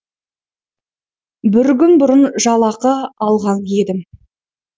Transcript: бір күн бұрын жалақы алған едім